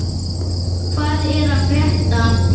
Hvað er að frétta??